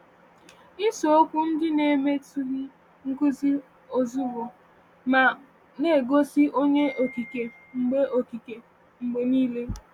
Isiokwu ndị na-emetụghị nkuzi ozugbo, ma na-egosi Onye Okike mgbe Okike mgbe niile.